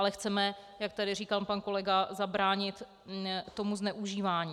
Ale chceme, jak tady říkal pan kolega, zabránit tomu zneužívání.